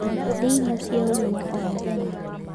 Rĩa irio cia ũgima o mũthenya